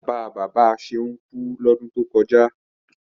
Bàbá bàbá Ṣeun kú lọ́dún tó kọjá.